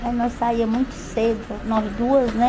Aí nós saía muito cedo, nós duas, né?